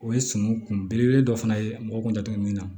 O ye sɔmi kun belebele dɔ fana ye mɔgɔ kunjan min na